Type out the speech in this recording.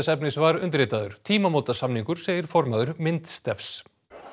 efnis var undirritaður tímamótasamningur segir formaður myndstefs